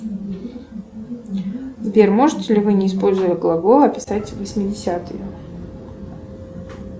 сбер можете ли вы не используя глаголы описать восьмидесятые